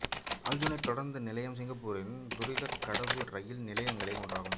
Aljunied தொடருந்து நிலையம் சிங்கப்பூரின் துரிதக் கடவு ரயில் நிலையங்களில் ஒன்றாகும்